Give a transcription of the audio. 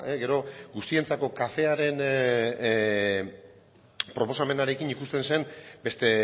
gero guztientzako kafearen proposamenarekin ikusten zen beste